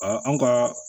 anw ka